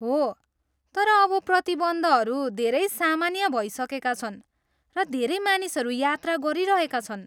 हो, तर अब प्रतिबन्धहरू धेरै सामान्य भइसकेका छन् र धेरै मानिसहरू यात्रा गरिरहेका छन्।